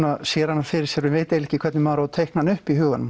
sér hana fyrir sér og veit ekki hvernig maður á að teikna hana upp í huganum